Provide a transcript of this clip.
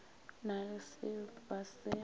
na le se ba se